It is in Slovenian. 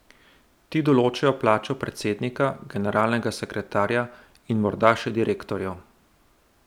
Ti določajo plačo predsednika, genralnega sekretarja in morda še direktorjev.